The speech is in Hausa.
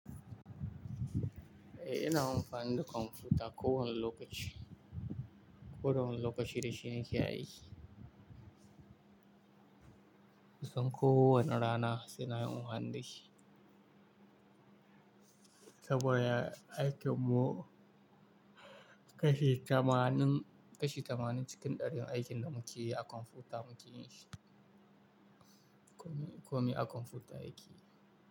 Eh ina amfani da kwamfuta kowane lokaci. Koda wani lokaci da shine ke aiki. Kusan kowane rana sai na yi amfani da shi. Saboda aikin mu kashi tamanin, kashi tamanin cikin ɗarin aikin da muke yi a kwamfuta muke yin shi. Komai, komai a kwamfuta yake yi.